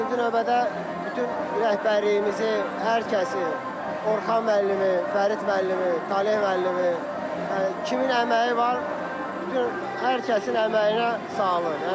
İkinci növbədə bütün rəhbərliyimizi, hər kəsi Orxan müəllimi, Fərid müəllimi, Taleh müəllimi, yəni kimin əməyi var, bütün hər kəsin əməyinə sağlıq.